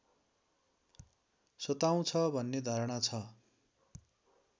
सताउँछ भन्ने धारणा छ